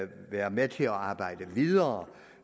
være med til at arbejde videre